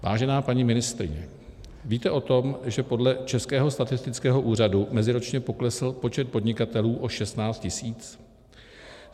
Vážená paní ministryně, víte o tom, že podle Českého statistického úřadu meziročně poklesl počet podnikatelů o 16 tisíc?